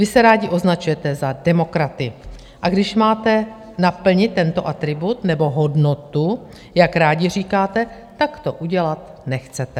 Vy se rádi označujete za demokraty, a když máte naplnit tento atribut, nebo hodnotu, jak rádi říkáte, tak to udělat nechcete.